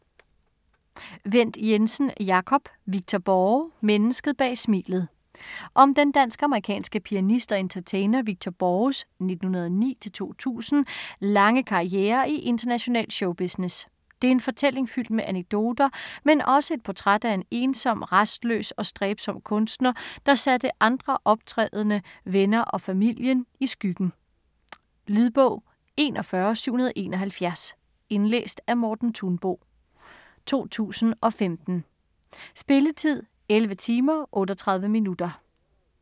Wendt Jensen, Jacob: Victor Borge - mennesket bag smilet Om den dansk-amerikanske pianist og entertainer Victor Borges (1909-2000) lange karriere i international showbusiness. Det er en fortælling fyldt med anekdoter, men også et portræt af en ensom, rastløs og stræbsom kunstner der satte andre optrædende, venner og familien i skyggen. Lydbog 41771 Indlæst af Morten Thunbo, 2015. Spilletid: 11 timer, 38 minutter.